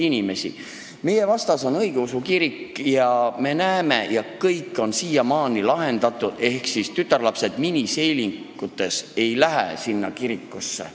Siin meie hoone vastas on õigeusu kirik ja me näeme, et miniseelikus tütarlapsed ei lähe sinna kirikusse.